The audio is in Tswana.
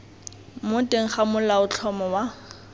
mo teng ga molaotlhomo wa